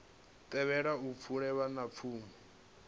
thivhele u fhela ha pfulo